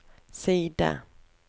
side